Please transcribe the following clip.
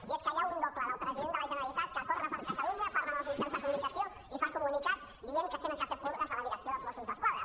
i és que hi ha un doble del president de la generalitat que corre per catalunya parla amb els mitjans de comu·nicació i fa comunicats dient que s’han de fer purgues a la direcció dels mossos d’es·quadra